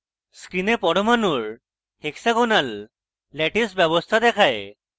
screen পরমাণুর hexagonal lattice ব্যবস্থা দেখায়